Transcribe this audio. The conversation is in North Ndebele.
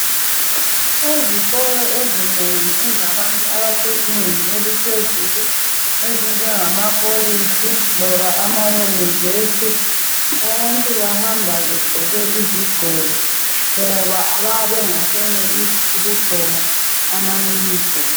Ezikolo ezinengi ezabantu abasezingeni eliphezulu ezinjengama kolitshi loba amayunivesi, abantu bahamba begqoke izigqoko ngoba babengasayenelisi ukugqoka mayunifomu.